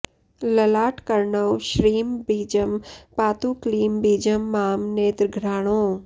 ललाटकर्णौ श्रीं बीजं पातु क्लीं बीजं मां नेत्रघ्राणौ